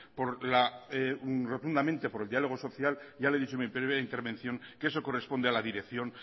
por la rotundamente diálogo social ya le he dicho en mi primero intervención que eso corresponde a la dirección